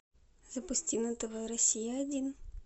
запусти на тв россия один